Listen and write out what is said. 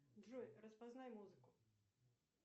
джой распознай музыку